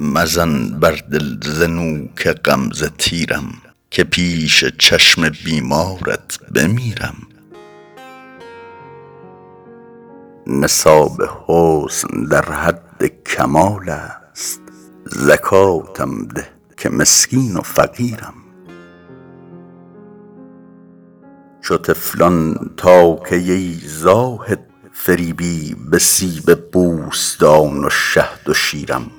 مزن بر دل ز نوک غمزه تیرم که پیش چشم بیمارت بمیرم نصاب حسن در حد کمال است زکاتم ده که مسکین و فقیرم چو طفلان تا کی ای زاهد فریبی به سیب بوستان و شهد و شیرم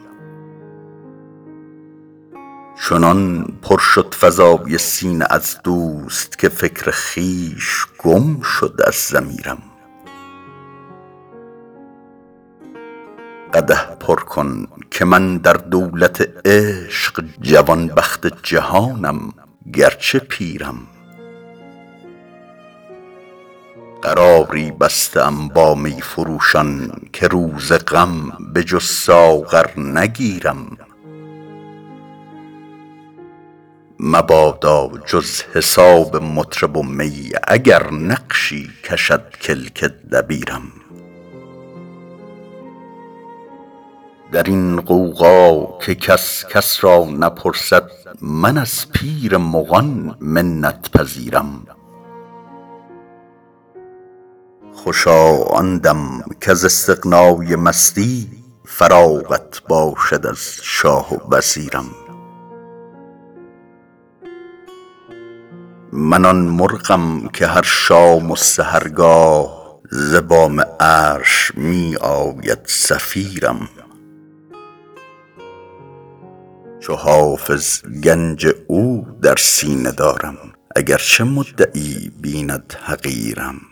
چنان پر شد فضای سینه از دوست که فکر خویش گم شد از ضمیرم قدح پر کن که من در دولت عشق جوانبخت جهانم گرچه پیرم قراری بسته ام با می فروشان که روز غم به جز ساغر نگیرم مبادا جز حساب مطرب و می اگر نقشی کشد کلک دبیرم در این غوغا که کس کس را نپرسد من از پیر مغان منت پذیرم خوشا آن دم کز استغنای مستی فراغت باشد از شاه و وزیرم من آن مرغم که هر شام و سحرگاه ز بام عرش می آید صفیرم چو حافظ گنج او در سینه دارم اگرچه مدعی بیند حقیرم